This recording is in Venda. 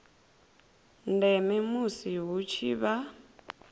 ndeme musi hu tshi vha